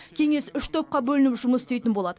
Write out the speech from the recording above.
кеңес үш топқа бөлініп жұмыс істейтін болады